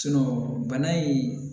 bana in